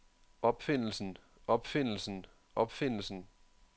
opfindelsen opfindelsen opfindelsen